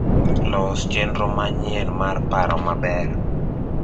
los chenro manyien mar paro maber